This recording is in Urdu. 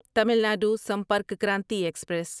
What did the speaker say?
تعمیل ندو سمپرک کرانتی ایکسپریس